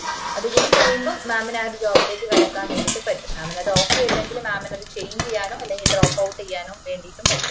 അതുകൂടി കഴിയുമ്പോ mam ന് ആഹ് ഒര് job ലേക്ക് കടക്കാൻ വേണ്ടീട്ട് പറ്റു mam ന് അത് okay അല്ലെങ്കില്ന് mam അത് change ചെയ്യാനോ അല്ലെങ്കില് drop out ചെയ്യാനോ വേണ്ടീട്ട് പറ്റും